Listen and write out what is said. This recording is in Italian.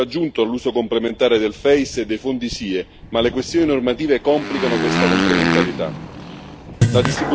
Esiste un reale valore aggiunto all'uso complementare dell'EFSI e dei fondi SIE, ma le questioni normative complicano questa complementarietà.